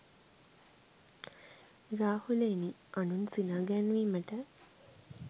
රාහුලයෙනි, අනුන් සිනා ගැන්වීමට